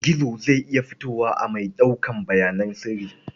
Gizo zai iya fitowa a mai ɗaukar bayanan sirri.